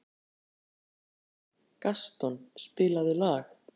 Gaston, spilaðu lag.